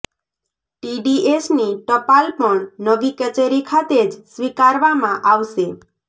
ટીડીએસની ટપાલ પણ નવી કચેરી ખાતે જ સ્વીકારવામાં આવશે